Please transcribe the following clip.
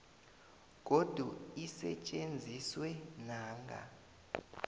godu isetjenziswe nanga